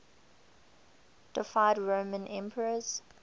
deified roman emperors